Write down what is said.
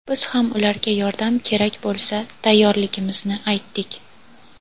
biz ham ularga yordam kerak bo‘lsa tayyorligimizni aytdik.